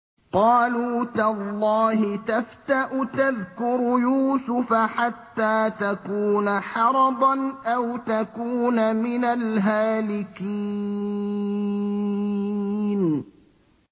قَالُوا تَاللَّهِ تَفْتَأُ تَذْكُرُ يُوسُفَ حَتَّىٰ تَكُونَ حَرَضًا أَوْ تَكُونَ مِنَ الْهَالِكِينَ